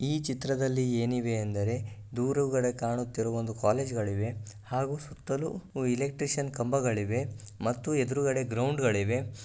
ಈ ಚಿತ್ರದಲ್ಲಿ ಏನಿವೆಯೆಂದರೆ ದೂರುಗಳು ಕಾಣುತಿರುವ ಕಾಲೇಜ್ಗಳಿವೆ ಹಾಗು ಸುತ್ತಲೂ ಎಲ್ಕ್ಟ್ರೀಷಿಯನ್ ಕಂಬಗಳಿವೆ ಮತ್ತು ಗ್ರೌಂಡ್ಗಳಿವೆ .